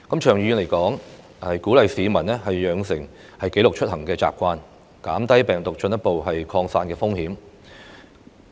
長遠而言，政府應鼓勵市民養成記錄出行的習慣，減低病毒進一步擴散的風險。